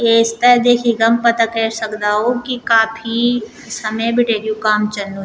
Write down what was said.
येस्त् देखिक हम पता कैर सक्दौं कि काफी समय बिटि यु काम चलणु --